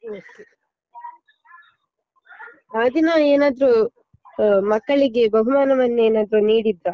Okay ಆದಿನ ಏನಾದ್ರು ಅಹ್ ಮಕ್ಕಳಿಗೆ ಬಹುಮಾನವನ್ನೇನಾದ್ರೂ ನೀಡಿದ್ರಾ?